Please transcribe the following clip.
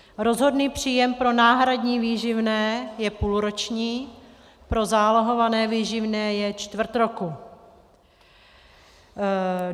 Rozhodný příjem pro náhradní výživné je půlroční, pro zálohované výživné je čtvrt roku.